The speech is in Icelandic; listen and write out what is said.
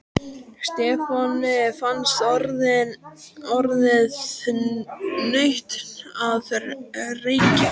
Stefáni fannst orðið nautn að reykja.